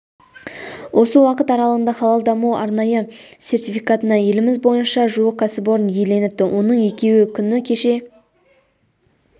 осы уақыт аралағында халал даму арнайы сертификатына еліміз бойыша жуық кәсіпорын иеленіпті оның екеуі күні кеше